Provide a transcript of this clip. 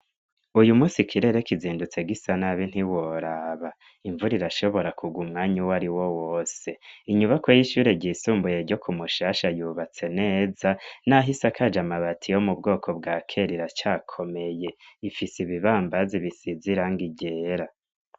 Uyu munsi kirere kizindutse gisa nabi ntiworaba imvura irashobora kurwa umwanya uwariwo wose inyubako y'ishure ryisumbuye ryo ku Mushasha yubatse neza naho isakaje amabati yo mu bwoko bwa kera iracakomeye ifise ibibambazi bisize iranga ryera.